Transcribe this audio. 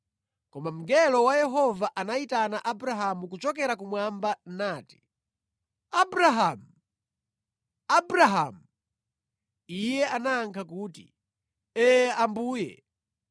Koma mngelo wa Yehova anayitana Abrahamu kuchokera kumwamba nati, “Abrahamu! Abrahamu!” Iye anayankha kuti, “Ee Ambuye.”